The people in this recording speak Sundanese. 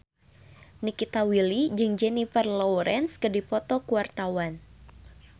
Nikita Willy jeung Jennifer Lawrence keur dipoto ku wartawan